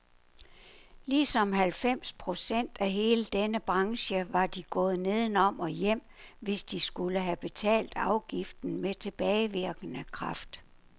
Ligesom halvfems procent af hele denne branche var de gået nedenom og hjem, hvis de skulle have betalt afgiften med tilbagevirkende kraft.